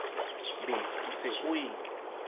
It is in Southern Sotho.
be o se o e